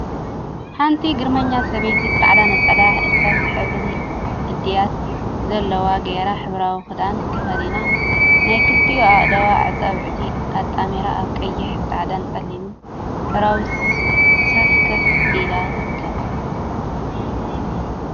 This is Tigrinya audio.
ሓንቲ ግርመኛ ሰበይቲ ፃዕዳ ነፀላ እርሳስ ሕብሪ እድያት ዘለዎ ገይራ ሕብራዊ ክዳን ተከዲና ናይ ክልቲኡ ኣእዳዋ ኣፃብዕቲ ኣጣሚራ ኣብ ቀይሕ፥ ፃዕዳን ፀሊምን ሕብራዊ ሶፋ ኮፍ ኢላ ትርከብ።